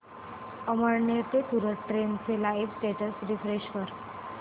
अमळनेर ते सूरत ट्रेन चे live status refresh कर